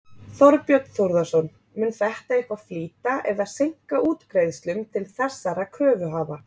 Þorbjörn Þórðarson: Mun þetta eitthvað flýta eða seinka útgreiðslum til þessara kröfuhafa?